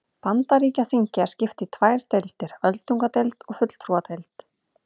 Bandaríkjaþingi er skipt í tvær deildir, öldungadeild og fulltrúadeild.